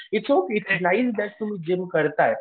तुम्ही जिम करताय.